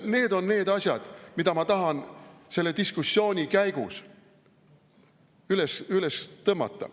Need on need asjad, mida ma tahan selle diskussiooni käigus üles tõmmata.